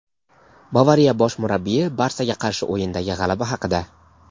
"Bavariya" bosh murabbiyi "Barsa"ga qarshi o‘yindagi g‘alaba haqida;.